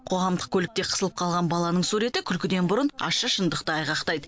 қоғамдық көлікте қысылып қалған баланың суреті күлкіден бұрын ащы шындықты айғақтайды